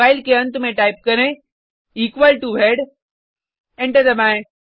file के अंत में टाइप करें इक्वल टो हेड एंटर दबाएँ